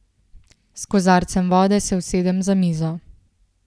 S kozarcem vode se usedem za mizo.